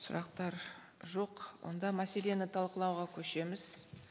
сұрақтар жоқ онда мәселені талқылауға көшеміз